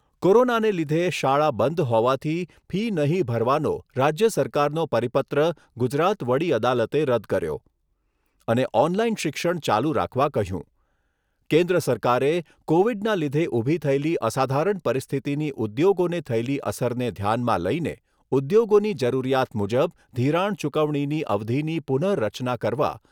કોરોનાને લીધે શાળા બંધ હોવાથી ફી નહીં ભરવાનો રાજ્ય સરકારનો પરિપત્ર ગુજરાત વડી અદાલતે રદ કર્યો અને ઓનલાઈન શિક્ષણ ચાલુ રાખવા કહ્યું. કેન્દ્ર સરકારે, કોવિડના લીધે ઊભી થયેલી અસાધારણ પરિસ્થિતિની ઉદ્યોગોને થયેલી અસરને ધ્યાનમાં લઈને ઉદ્યોગોની જરૂરિયાત મુજબ ધિરાણ ચૂકવણીની અવધીની પુનઃ રચના કરવા